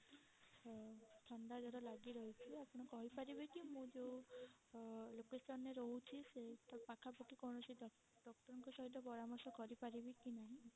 ଥଣ୍ଡା ଜର ଲାଗି ରହିଛି ଆପଣ କହି ପାରିବେ କି ମୁଁ ଯଉ location ରେ ରହୁଛି ସେଇ ପାଖା ପାଖି କୌଣସି doctor ଙ୍କ ସହିତ ପରାମର୍ଶ କରି ପାରିବି କି ନାହିଁ?